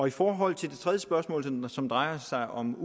i forhold til det tredje spørgsmål som drejer sig om